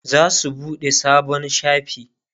zasu buɗe sabon shafi